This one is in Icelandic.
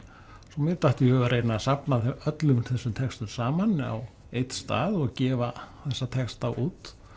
svo mér datt í hug að reyna að safna öllum þessum textum saman á einn stað og gefa þessa texta út